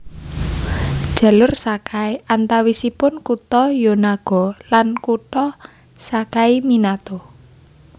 Jalur Sakai antawisipun kutha Yonago lan kutha Sakaiminato